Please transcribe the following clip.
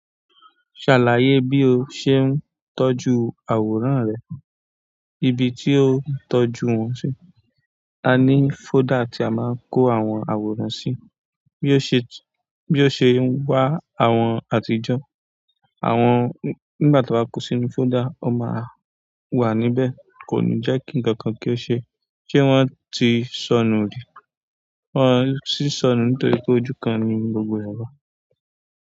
Ṣàlàyé bí o ṣe ń tọ́jú àwòrán rẹ, ibi tí o ń tọ́jú wọn sí. A ní folder tí a máa ń kó àwọn àwòrán sí bí ó ṣe wà àwọn àtijọ́. Àwọn nígbà tí a ba kó sínú folder, o máa wà níbẹ̀. Kò ní jẹ́ kí ǹkankan kí ó ṣe, ṣe wọ́n ti sọnù rí? Wọn ti ì sọnù nítorí pé ojú kan ni gbogbo re wà.